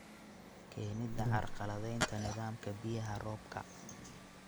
Keenida carqaladaynta nidaamka biyaha roobka.